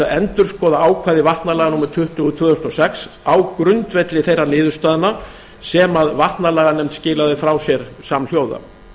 endurskoða ákvæði vatnalaga númer tuttugu tvö þúsund og sex á grundvelli þeirra niðurstaðna sem vatnalaganefnd skilaði frá sér samhljóða